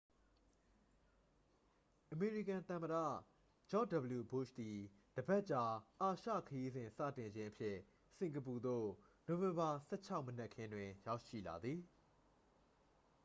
အမေရိကန် သမ္မတ ဂျော့ဂျ်ဒဗလျူဘုရှ်သည် တစ်ပတ်ကြာ အာရှခရီးစဉ်စတင်ခြင်းအဖြစ် စင်ကာပူသို့ နိုဝင်ဘာ 16 မနက်ခင်းတွင် ရောက်ရှိလာသည်